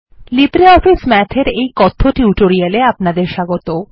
LibreOffice Math এর এই টিউটোরিয়ালে আপনাদের স্বাগত